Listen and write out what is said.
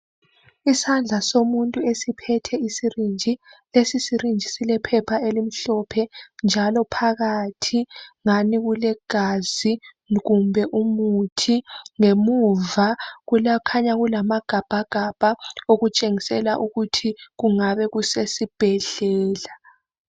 Isandla somuntu esiphethe isirinji. Lesi sirinji silephepha elimhlophe njalo phakathi ngani kulegazi kumbe umuthi. Ngemuva kukhanya kulamagabhagabha okutshengisela ukuthi kungabe kusesibhedlela.